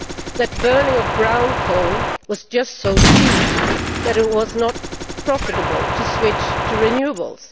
That the burning of brown coal was just so cheap that it was not profitable to switch to renewables?